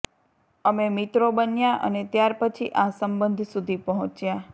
અમે મિત્રો બન્યા અને ત્યાર પછી આ સંબંધ સુધી પહોંચ્યા